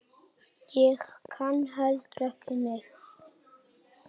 Ég kann heldur ekki neitt.